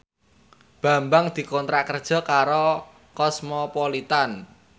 Bambang dikontrak kerja karo Cosmopolitan